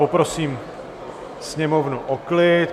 Poprosím Sněmovnu o klid.